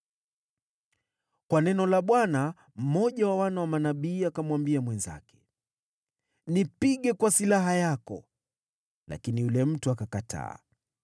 Kwa neno la Bwana , mmoja wa wana wa manabii akamwambia mwenzake, “Nipige kwa silaha yako,” lakini yule mtu akakataa.